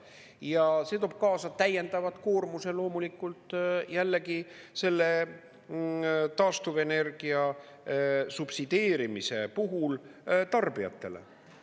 Ja see toob kaasa täiendava koormuse loomulikult jällegi selle taastuvenergia subsideerimise puhul tarbijatele.